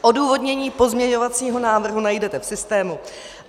Odůvodnění pozměňovacího návrhu najdete v systému.